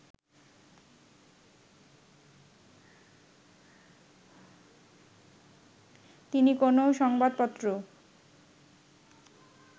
তিনি কোনও সংবাপত্র